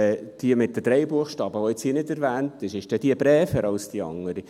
Die mit den drei Buchstaben, die jetzt hier nicht erwähnt wird: Ist die braver als die andere?